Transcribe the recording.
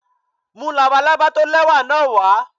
Mú labalábá tó lẹ́wà náà wá.